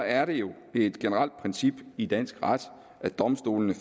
er det jo et generelt princip i dansk ret at domstolene